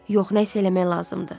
Yox, nəyisə eləmək lazımdır.